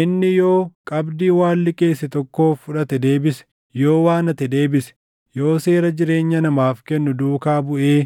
inni yoo qabdii waan liqeesse tokkoof fudhate deebise, yoo waan hate deebise, yoo seera jireenya namaaf kennu duukaa buʼee